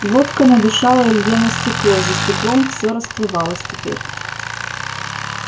водка надышала илье на стекло за стеклом всё расплывалось теперь